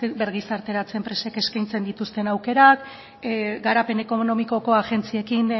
birgizarteratze enpresek eskaintzen dituzten aukerak garapen ekonomikoko agentziekin